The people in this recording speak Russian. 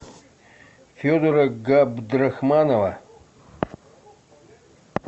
федора габдрахманова